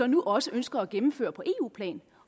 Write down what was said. nu også ønsker at gennemføre på eu plan